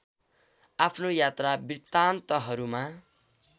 आफ्नो यात्रा वृतान्तहरूमा